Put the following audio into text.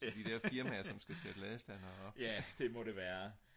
de der firmaer der skal sætte ladestandere op